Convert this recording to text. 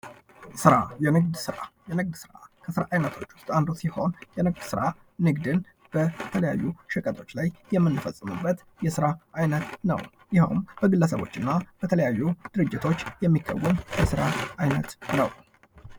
ሥራ የንግድ ሥራ የንግድ ሥራ ለስራ አይነቶች ዉስጥ አንዱ ሲሆን የንግድ ሥራ ንግድን በተለያዩ ሸቀጦች ላይ የምንፈፅምበት የስራ አይነት ነው:: ይሄውም በግለሰቦች እና በተለያዩ ድርጅቶች የሚከወን የስራ አይነት ነው::